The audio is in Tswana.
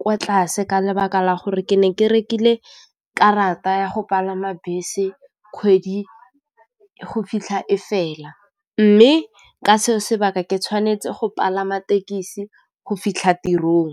kwa tlase ka lebaka la gore ke ne ke rekile karata ya go palama bese kgwedi go fitlha ko fela mme ka seo sebaka ke tshwanetse go palama tekesi go fitlha tirong.